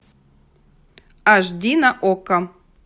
аш ди на окко